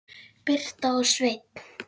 Birta og Sveinn.